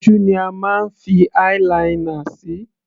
Ojú ni a máa ń fi eye - linear sí.